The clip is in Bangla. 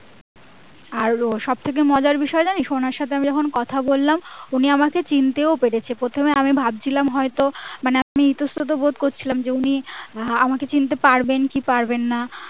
আর সবথেকে মজার বিষয় জানিস ওনার সাথে আমি কথা যখন বললাম উনি আমাকে চিনতেও পেরেছে প্রথমে আমি ভাবছিলাম হয়তো মানে ইতস্থত বোধ করছিলাম যে উনি আমাকে চিনতে পারবেন কি পারবেন না